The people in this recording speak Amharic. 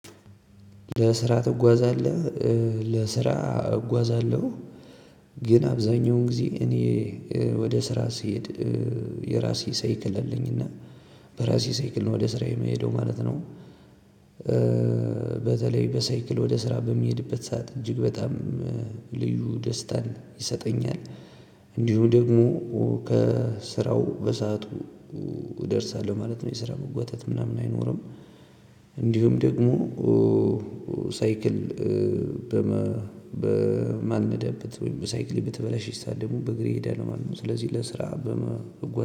ለስራ ትጓዛለህ? ለስራ እጓዛለሁ። ግን አብዛኛውን ጊዜ እኔ ወደ ስራ ስሄድ የራሴ ሳይክል አለኝ። እና በራሴ ሳይክል ነው ወደ ስራዬ የምሄደው ማለት ነው። በተለይ በሳይክል ወደ ስራ በሚሄድበት ሰዓት እጅግ በጣም ልዩ ደስታን ይሰጠኛል። እንዲሁም ደግሞ ከስራው በሰአቱ እደርሳለሁ ማለት ነው። የስራ መጓተት ምናምን አይኖርም። እንዲሁም ደግሞ ሳይክል በማልንዳበት ወይም ሳይክሌ በተበላሸች ሰዓት ደግሞ በእግሬ እሄዳለሁ ማለት ነው። ስለዚህ ለስራ